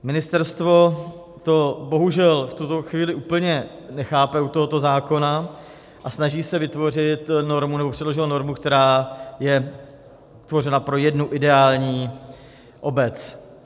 Ministerstvo to bohužel v tuto chvíli úplně nechápe u tohoto zákona a snaží se vytvořit normu, nebo předložilo normu, která je tvořena pro jednu ideální obec.